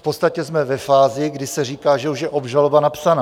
V podstatě jsme ve fázi, kdy se říká, že už je obžaloba napsaná.